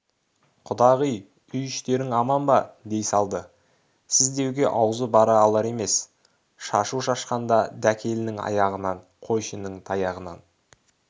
құдағи үй-іштерің аман ба дей салды сіз деуге аузы бара алар емес шашу шашқанда дакеліннің аяғынан қойшының таяғынан